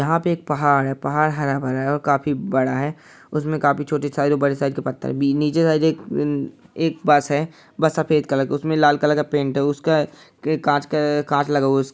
यहाँ पे एक पहाड़ है पहाड़ हरा-भरा है और काफी बड़ा है उसमें काफी छोटी साइज और बड़े साइज के पत्थर भी नीचे साइड एक उम एक बस है बस सफ़ेद कलर का है उसमें लाल कलर का पेंट है उसका क कांच क कांच लगा हुआ है।